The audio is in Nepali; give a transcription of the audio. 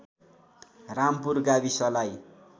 रामपुर गाविसलाई